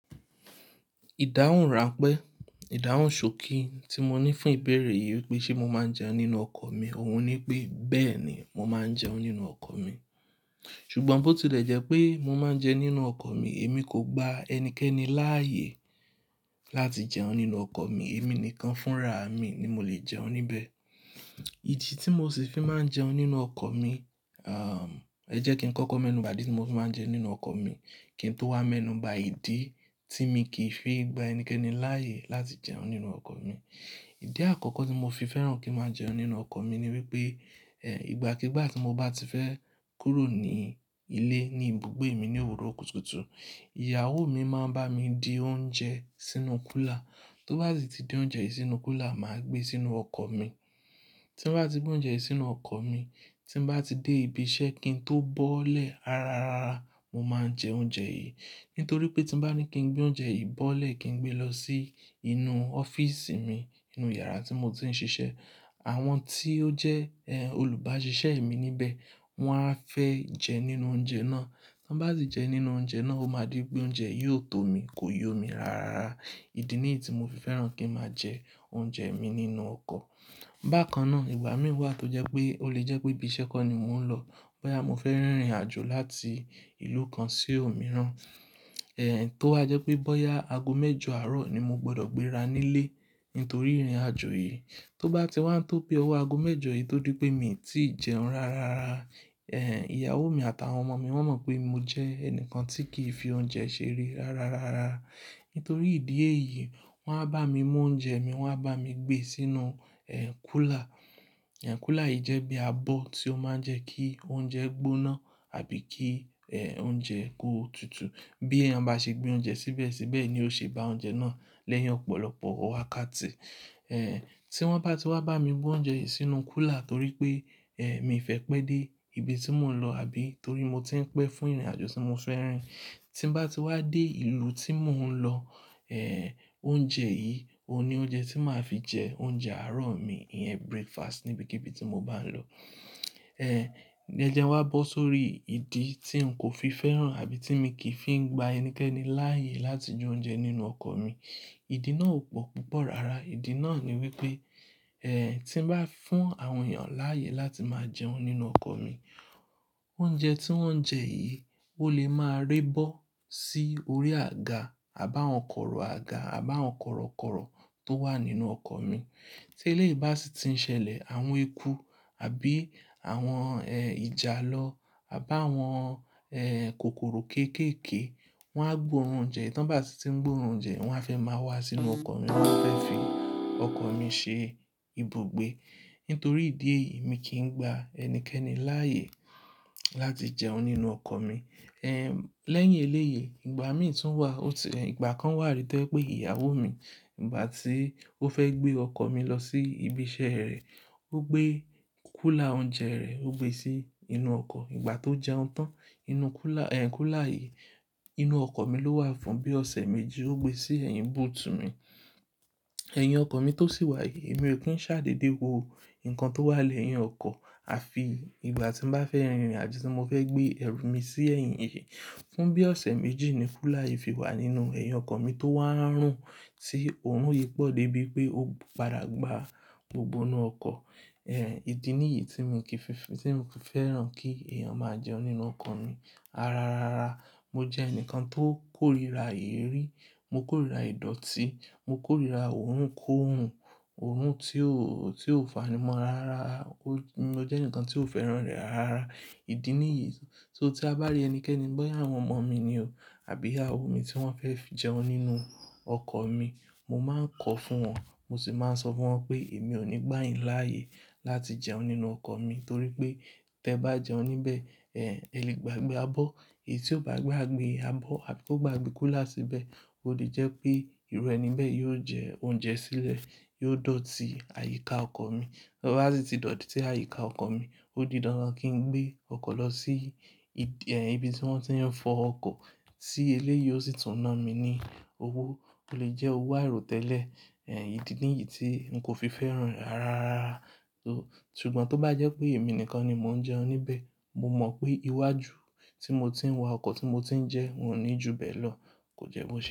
Ìdáhùn ranpẹ́, ìdáhùn ṣokí tí mo ní fún ìbéèrè yìí pé ṣe mo máa ń jẹun nínú ọkọ̀ mi, òun ní pé bẹ́ẹ̀ ni, mo máa ń jẹun nínú ọkọ̀ mi. Ṣùgbọ́n bó ti dẹ̀ jẹ́ pé mo máa ń jẹun nínú ọkọ̀ mi, èmi kò gba ẹnikẹ́ni láàyè láti jẹun nínú ọkọ̀ mi. Èmi nìkan fún ra mi ni mo lè jẹun níbẹ̀. Idi tí mo sì fi máa ń jẹun nínú ọkọ̀ mi, à, ẹ jẹ́ kí n kọ́kọ́ mẹ́nù báàdì tí mo máa ń jẹun nínú ọkọ̀ mi, kí n tó wá mẹ́nù bá ìdí tí mi kì í fi gba ẹnikẹ́ni láàyè láti jẹun nínú ọkọ̀ mi. Ìdí àkọ́kọ́ tí mo fi fẹ́ràn kí ń máa jẹun nínú ọkọ̀ mi ni wípé, ẹ, ìgbàkígbà tí mo bá ti fẹ́ kúrò ní ilé ní ibùgbé mi ní òwúrọ̀ kùtùkùtù, ìyàwó mi máa ń bá mi di oúnjẹ sínú kúlà. Tó bá ti di oúnjẹ sínú kúlà, màá gbé sínú ọkọ̀ mi. Tí mo bá ti gbé oúnjẹ sínú ọkọ̀ mi, tí mo bá ti dé ibi iṣẹ́ kí n tó bọ́lẹ̀ ararara, mo máa ń jẹ oúnjẹ yìí. Nítorí pé tí bá ní kí n gbé oúnjẹ yìí bọ́lẹ̀ kí n gbé lọ sí inú ọ́fíìsì mi, inú yàrá tí mo ti ń ṣiṣẹ́, àwọn tí ó jẹ́, ẹ, olùbáṣiṣẹ́ mi níbẹ̀, wọ́n á fẹ́ jẹ nínú oúnjẹ náà. Tán bá ti jẹ nínú oúnjẹ náà, o máa di pé oúnjẹ yóò tó mi, kò yóò mi rárára. Ìdí nìyí tí mo fi fẹ́ràn kí ń máa jẹ oúnjẹ mi nínú ọkọ̀. Bákan náà, ìgbà mìíràn tó jẹ́ pé ó lè jẹ́ pé ibi iṣẹ́ kọ́ ni mò ń lọ, bóyá mo fẹ́ rìnrìnàjò láti ìlú kan sí òmíràn, ẹ, tó wa jẹ́ pé bóyá ago mẹ́jọ àárọ̀ ni mo gbọdọ̀ gbé ra nílé nítorí ìrìnàjò yìí. Tó bá ti wá ń tó pé owó ago mẹ́jọ yìí tó di pé mi ò tíì jẹun rárára. Ẹ, ìyàwó mi àtàwọn ọmọ mi wọ́n mọ̀ pé mo jẹ́ ẹni kan tí kì í fi oúnjẹ ṣeré rárára. Nítorí ìdí èyí, wọ́n á bá mi mú oúnjẹ mi, wọ́n á bá mi gbé e sínú, ẹ, kúlà. Ẹ, kúlà yìí jẹ́ bí abọ́ tí ó máa ń jẹ kí oúnjẹ gbóná àbí kí, ẹ, oúnjẹ kó tutù. Bí ẹni bá ṣe gbé oúnjẹ síbẹ̀ síbẹ̀ ni ó ṣe bá oúnjẹ náà lẹ́yìn ọ̀pọ̀lọpọ̀ wákàtì. Ẹ, tí wọ́n bá ti wá bá mi mú oúnjẹ yìí sínú kúlà torí pé, ẹ, mi fẹ́ pé dé ibi tí mò ń lọ àbí torí mo ti ń pé fún ìrìnàjò tí mo fẹ́ rin. Tí mo bá ti wá dé ìlú tí mò ń lọ, ẹ, oúnjẹ yìí òun ni oúnjẹ tí màá fi jẹ oúnjẹ àárọ̀ mi, ìyẹn breakfast ní ibikíbi tí mo bá ń lọ. Ẹ, ní ìjẹ́ wa bọ́ sórí ìdí tí n kò fi fẹ́ràn àbí tí mi kì í fi ń gba ẹnikẹ́ni láàyè láti jẹ oúnjẹ nínú ọkọ̀ mi. Ìdí náà ò pò púpọ̀ rara. Ìdí náà ni wípé, ẹ, tí mo bá fún àwọn èèyàn láàyè láti máa jẹun nínú ọkọ̀ mi, oúnjẹ tí wọ́n jẹ yìí ó lè máa re bọ́ sí orí àga, àbáwọ́n kọ̀rọ̀ àga, àbáwọ́n kọ̀rọ̀kọ̀rọ̀ tó wà nínú ọkọ̀ mi. Tí eléyìí bá sì ti ń ṣẹlẹ̀, àwọn eku àbí àwọn, ẹ, ìjàlọ àbáwọn, ẹ, kòkòrò kéékèè, wọ́n á gbó oúnjẹ. Tán bá sì ti ń gbó oúnjẹ, wọ́n á fẹ́ máa wá sínú ọkọ̀ mi, wọ́n á fẹ́ fi ọkọ̀ mi ṣe ibùgbé. Nítorí ìdí èyí, mi kì í gba ẹnikẹ́ni láàyè láti jẹun nínú ọkọ̀ mi. Ẹ, lẹ́yìn eléyìí, ìgbà mìíràn tún wà ó ti-- ìgbà kan wà rí tó pé ìyàwó mi ìgbà tí ó fẹ́ gbé ọkọ̀ mi lọ sí ibi iṣẹ́ rẹ̀, ó gbé kúlà oúnjẹ rẹ̀, ó gbe sí inú ọkọ̀. Ìgbà tó jẹun tán, inú kúlà, ẹ, kúlà yìí inú ọkọ̀ mi ló wà fún bí ọ̀sẹ̀ méjì ó gbe sí ẹ̀yìn boot mi. Ẹ̀yìn ọkọ̀ mi tó sì wà yìí, èmi ò kí ń ṣàdédé wo nǹkan tó wà lẹ́yìn ọkọ̀ àfi ìgbà tí mo bá fẹ́ rìnrìn àbí tí mo fẹ́ gbé ẹrù mi sí ẹ̀yìn yìí. Fún bí ọ̀sẹ̀ méjì ni kúlà yìí fi wà nínú ẹ̀yìn ọkọ̀ mi tó wá ń rún tí òórùn yìí pọ́ dé bí pé ó padà gba gbogbo inú ọkọ̀. Ẹ, ìdí nìyí tí mi kì í fi, tí mo kò fẹ́ràn kí èèyàn máa jẹun nínú ọkọ̀ mi. Ararara, mo jẹ́ ẹni kan tó kórira ìrírí, mo kórira ìdọ̀tí, mo kórira òórùn kó òórùn, òórùn tí ò, tí ò fani mọ́ rara. O jẹ́ ẹnìkan tí ò fẹ́ràn rẹ̀ rara. Ìdí nìyí, tó tí a bá rí ẹnikẹ́ni, bóyá àwọn ọmọ mi ni o àbí ìyàwó mi tí wọ́n fẹ́ fi jẹun nínú ọkọ̀ mi, mo máa ń kọ fún wọn, mo sì máa ń sọ fún wọn pé èmi ò ní gbà ìń láàyè láti jẹun nínú ọkọ̀ mi torí pé tí ẹ bá jẹun níbẹ̀, ẹ, ẹ lè gbàgbé abọ́. Èyí tí ó bá gbé abọ́ àbí kó gbé kúlà síbẹ̀, ó di jẹ́ pé irọ́ níbẹ̀ yóò jẹ oúnjẹ sílẹ̀, yóò dọ̀tí àyíká ọkọ̀ mi. Bá ti dọ̀tí sí àyíká ọkọ̀ mi, ó di dandan kí n gbé ọkọ̀ lọ sí ibi, ẹ, ibi tí wọ́n ti ń fọ ọkọ̀. Tí eléyìí ó sì tún ná mi ní owó tó lè jẹ́ owó àìró tẹ́lẹ̀. Ẹ, ìdí nìyí tí n kò fi fẹ́ràn rẹ̀ rara. Tó, ṣùgbọ́n tó bá jẹ́ pé èmi nìkan ni mò ń jẹun níbẹ̀, mo mọ̀ pé iwájú tí mo ti ń wa ọkọ̀ tí mo ti ń jẹ, n ò ní ju bẹ́ẹ̀ lọ, kò jẹ́ mo ṣe bẹ́ẹ̀